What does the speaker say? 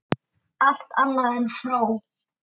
Allt annað en fró!